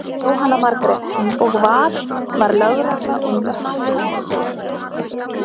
Jóhanna Margrét: Og var, var lögregla og slökkvilið lengi á svæðið?